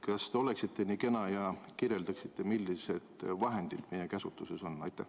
Kas te oleksite nii kena ja kirjeldaksite, millised vahendid meie käsutuses on?